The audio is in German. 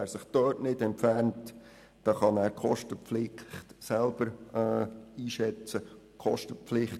Wer sich dann nicht entfernt, muss mit der Kostenpflicht rechnen.